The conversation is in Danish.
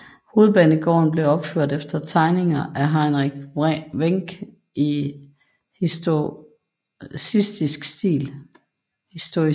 Hovedbanegården blev opført efter tegninger af Heinrich Wenck i historicistisk stil